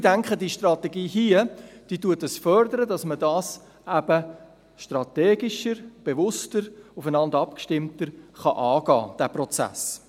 Ich denke, die Strategie fördert, dass man den Prozess hier eben strategischer, bewusster und stärker aufeinander abgestimmt angehen kann.